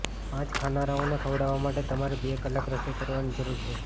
પાંચ ખાનારાઓને ખવડાવવા માટે તમારે બે કલાક રસોઇ કરવાની જરૂર છે